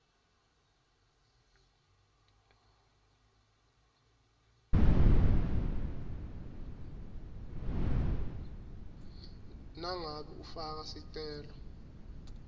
nangabe ufaka sicelo